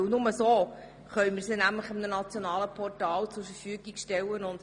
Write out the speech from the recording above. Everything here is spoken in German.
Nur so könnten sie auf einem nationalen Portal zur Verfügung gestellt werden.